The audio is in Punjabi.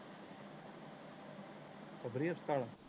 ਬਬਰੀ ਹਸਪਤਾਲ